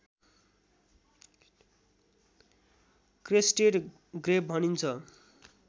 crested grebe भनिन्छ